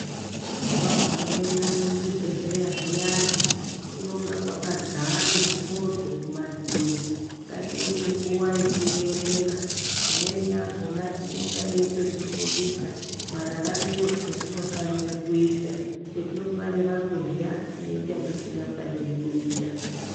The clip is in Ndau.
Mwagumeyo kuchibhedhlera zviyani kunenge kwakadzara mifodho kumadziro ngatione nguwa yekuverenga imweni yakona inonga yoitoti fundisa mararamiro etinofanira kuita etinofanira kurya neatisingafaniri kuita.